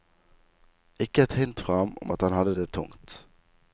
Ikke et hint fra ham om at han hadde det tungt.